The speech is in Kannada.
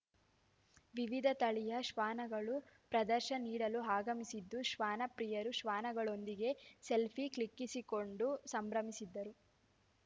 ವಿವಿಧ ತಳಿಯ ಶ್ವಾನಗಳು ಪ್ರದರ್ಶ ನೀಡಲು ಆಗಮಿಸಿದ್ದು ಶ್ವಾನ ಪ್ರಿಯರು ಶ್ವಾನಗಳೊಂದಿಗೆ ಸೆಲ್ಫಿ ಕ್ಲಿಕ್ಕಿಸಿಕೊಂಡು ಸಂಭ್ರಮಿಸಿದರು